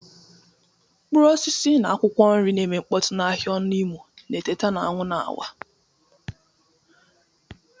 Mkpụrụ osisi na akwụkwọ nri na-eme mkpọtụ n'ahịa Onu imo na-eteta na anwụ na-awa.